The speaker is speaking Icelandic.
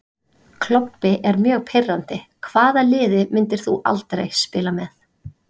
Klobbi er mjög pirrandi Hvaða liði myndir þú aldrei spila með?